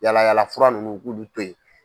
Yala yalafura ninnu u k'ulu to ye.